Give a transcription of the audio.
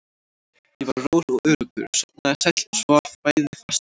Ég var rór og öruggur, sofnaði sæll og svaf bæði fast og lengi.